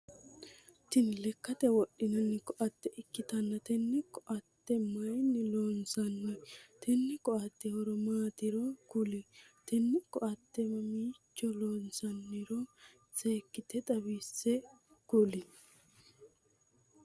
Tinni lekate wodhinnanni koate ikitanna tenne koate mayinni loonsanni? Tenne koate horo maatiro kuli? Tenne koate mamiicho loonsanniro seekite xawise kuli?